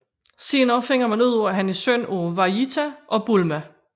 Senere finder man ud af han er søn af Vejita og Bulma